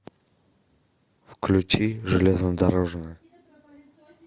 включи железнодорожная